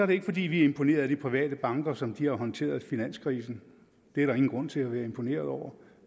det ikke fordi vi er imponeret af private banker som de har håndteret finanskrisen det er der ingen grund til at være imponeret over